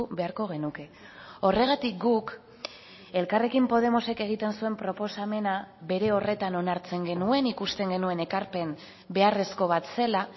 beharko genuke horregatik guk elkarrekin podemosek egiten zuen proposamena bere horretan onartzen genuen ikusten genuen ekarpen beharrezko bat zela